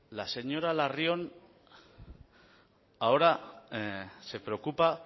la señora larrion ahora se preocupa